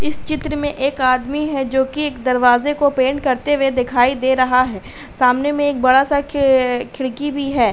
इस चित्र में एक आदमी है जो कि एक दरवाजे को पेंट करते हुए दिखाई दे रहा है। सामने में एक बड़ा-सा खे खिड़की भी है।